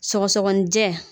Sɔgɔsɔgɔnijɛ